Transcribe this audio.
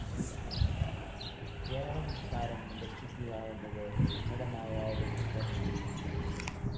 കേരളസംസ്‌കാരം രക്ഷിയക്കുക എന്നത് ഉന്നതമായ ലക്ഷ്യം തന്നെ ആയിരുന്നു